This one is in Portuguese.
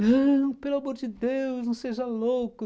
Não, pelo amor de Deus, não seja louco.